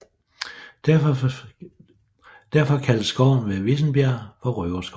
Derfor kaldes skoven ved Vissenbjerg for Røverskoven